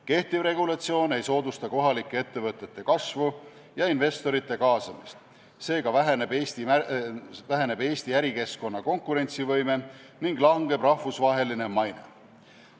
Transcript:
Kehtiv regulatsioon ei soodusta kohalike ettevõtete kasvu ja investorite kaasamist, seega väheneb Eesti ärikeskkonna konkurentsivõime ning langeb rahvusvaheline maine.